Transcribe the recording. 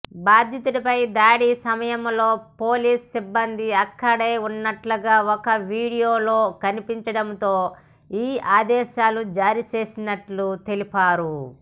బాధితుడిపై దాడి సమయంలో పోలీస్ సిబ్బంది అక్కడే ఉన్నట్లుగా ఒక వీడియోలో కనిపించడంతో ఈ ఆదేశాలను జారీ చేసినట్లు తెలిపారు